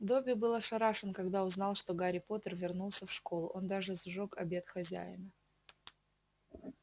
добби был ошарашен когда узнал что гарри поттер вернулся в школу он даже сжёг обед хозяина